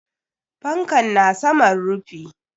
Fankan na saman rufi.